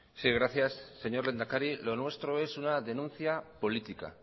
sí gracias señor lehendakari lo nuestro es una denuncia política